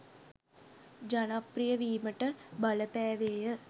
ජනප්‍රිය වීමට බලපෑවේය